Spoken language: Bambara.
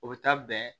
O bɛ taa bɛn